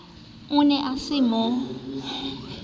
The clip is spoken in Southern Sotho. o ne a sa mo